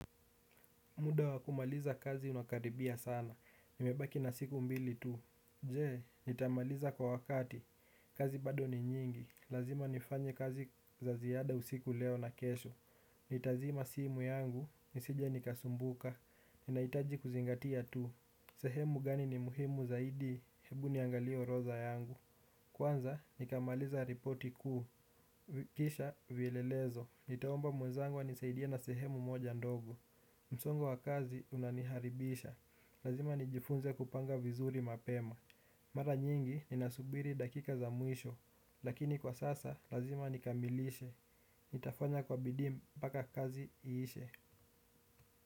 Muda wa kumaliza kazi unakaribia sana. Nimebaki na siku mbili tu. Jee, nitamaliza kwa wakati. Kazi bado ni nyingi. Lazima nifanye kazi za ziada usiku leo na kesho. Nitazima simu yangu. Nisije nikasumbuka. Ninahitaji kuzingatia tu. Sehemu gani ni muhimu zaidi. Hebu niangalie orodha yangu. Kwanza, nikamaliza ripoti kuu. Kisha, vielelezo. Nitaomba mwezangu anisaidie na sehemu moja ndogo. Msongo wa kazi unaniharibisha. Lazima nijifunze kupanga vizuri mapema. Mara nyingi ninasubiri dakika za mwisho. Lakini kwa sasa lazima nikamilishe. Nitafanya kwa bidii mpaka kazi iishe.